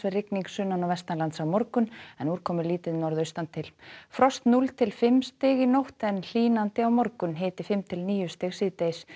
rigning sunnan og vestanlands á morgun en úrkomulítið norðaustan til frost núll til fimm stig í nótt en hlýnandi á morgun hiti fimm til níu stig síðdegis